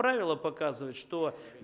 правила показывает что